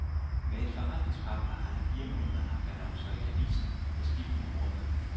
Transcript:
Med en forretningspartner har han i fire måneder haft annoncer i aviserne med skiftende ordlyd.